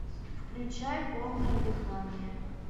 включай полное дыхание